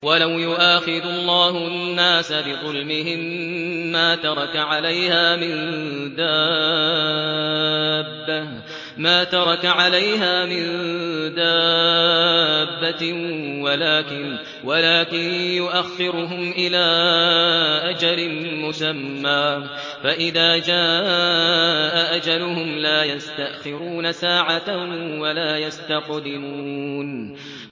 وَلَوْ يُؤَاخِذُ اللَّهُ النَّاسَ بِظُلْمِهِم مَّا تَرَكَ عَلَيْهَا مِن دَابَّةٍ وَلَٰكِن يُؤَخِّرُهُمْ إِلَىٰ أَجَلٍ مُّسَمًّى ۖ فَإِذَا جَاءَ أَجَلُهُمْ لَا يَسْتَأْخِرُونَ سَاعَةً ۖ وَلَا يَسْتَقْدِمُونَ